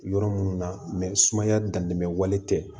Yɔrɔ minnu na sumaya dantɛmɛ wale tɛ